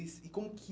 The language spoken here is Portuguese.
E como que...